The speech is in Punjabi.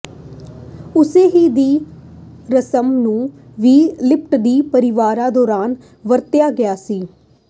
ਉਸੇ ਹੀ ਦੀ ਰਸਮ ਨੂੰ ਵੀ ਿਲਪਟਦੀ ਪਰਿਵਾਰ ਦੌਰਾਨ ਵਰਤਿਆ ਗਿਆ ਸੀ